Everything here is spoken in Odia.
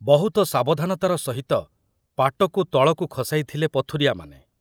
ବହୁତ ସାବଧାନତାର ସହିତ ପାଟକୁ ତଳକୁ ଖସାଇଥିଲେ ପଥୁରିଆମାନେ।